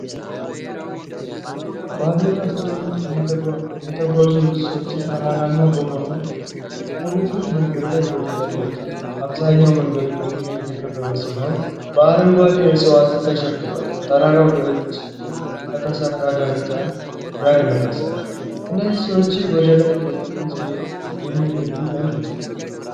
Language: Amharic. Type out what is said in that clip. በባዶ እግራቸው የተጓዙ ብዙ ሰዎች፣ ተራራማ በሆነ ቁልቁለት መንገድ ላይ ወደ ላይ ይወጣሉ። አብዛኛው መንገዱ በድንጋይ የተከበበ ሲሆን በአረንጓዴ ዕፅዋት ተሸፍኗል። ተራራው በእጅ ከተሰራ ደረጃ ጋር ይመሳሰላል። እነዚህ ሰዎች ወደላይ በጉጉት የሚሄዱት ለምንድን ነው?